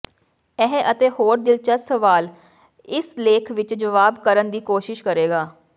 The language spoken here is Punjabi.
ਇਹ ਅਤੇ ਹੋਰ ਦਿਲਚਸਪ ਸਵਾਲ ਇਸ ਲੇਖ ਵਿਚ ਜਵਾਬ ਕਰਨ ਦੀ ਕੋਸ਼ਿਸ਼ ਕਰੇਗਾ